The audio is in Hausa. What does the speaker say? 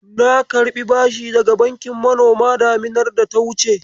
Na karɓi bashi daga bankin manoma daminar data wuce.